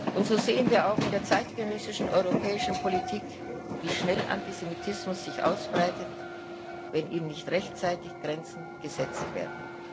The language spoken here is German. Und so sehen wir auch in der zeitgenössischen europäischen Politik, wie schnell Antisemitismus sich ausbreitet, wenn ihm nicht rechtzeitig Grenzen gesetzt werden.